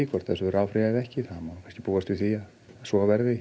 hvort þessu verði áfrýjað eða ekki það má kannski búast við því að svo verði